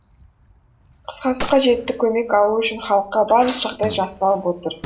қысқасы қажетті көмек алу үшін халыққа барлық жағдай жасалып отыр